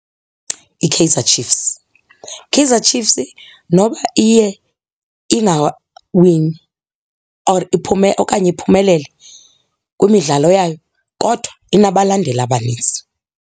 IKaizer Chiefs. Kaizer Chiefs noba iye ingawini or, okanye iphumeleli kwimidlalo yayo kodwa inabalandeli abanintsi.